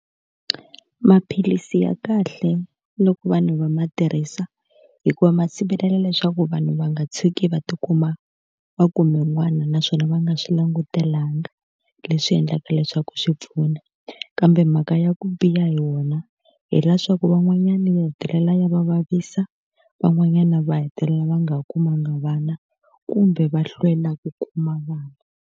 Maphilisi ya kahle loko vanhu va ma tirhisa hikuva ma sivelela leswaku vanhu va nga tshuki va tikuma va kume un'wana naswona va nga swi langutelanga, leswi endlaka leswaku swi pfuna. Kambe mhaka ya ku biha hi wona hileswaku van'wanyani ya hetelela ya va vavisa, van'wanyana va hetelela va nga ha kumanga vana kumbe va hlwela ku kuma vana.